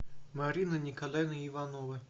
марина николаевна иванова